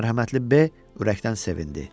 Mərhəmətli B ürəkdən sevindi.